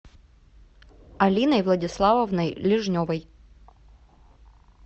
алиной владиславовной лежневой